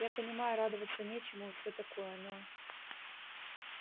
я понимаю радоваться нечему и всё такое но